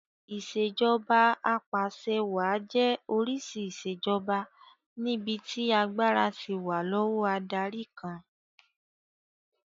Ìṣèjoba Ap'àṣẹwàá jẹ́ oríṣi ìṣèjoba níbi tí agbára ti wà lọ́wọ́ adarí kan